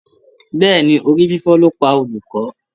Bẹ́ẹ̀ni, orí fífọ́ ló pa olùkọ́.